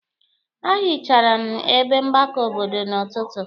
A hichara m ebe mgbakọ obodo n'ọtụtụ.